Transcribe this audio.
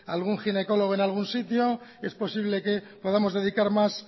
algún ginecólogo en algún sitio es posible que podamos dedicar más